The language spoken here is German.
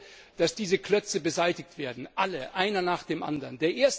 Ich möchte, dass diese Klötze beseitigt werden alle, einer nach dem anderen!